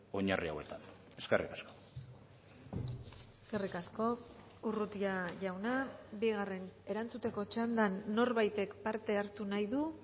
oinarri hauetan eskerrik asko eskerrik asko urrutia jauna bigarren erantzuteko txandan norbaitek parte hartu nahi du